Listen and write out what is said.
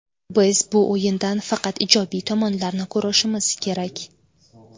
Biz bu o‘yindan faqat ijobiy tomonlarni ko‘rishimiz kerak.